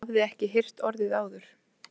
Ég hafði ekki heyrt orðið áður.